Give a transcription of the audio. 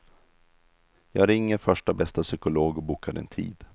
Jag ringer första bästa psykolog och bokar en tid.